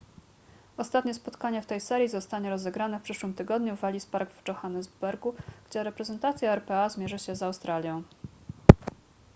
ostatnie spotkanie w tej serii zostanie rozegrane w przyszłym tygodniu w ellis park w johannesburgu gdzie reprezentacja rpa zmierzy się z australią